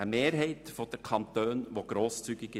Eine Mehrheit der Kantone ist grosszügiger.